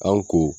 An ko